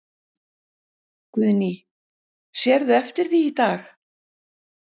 Guðný: Sérðu eftir því í dag?